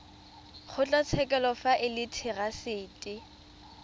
kgotlatshekelo fa e le therasete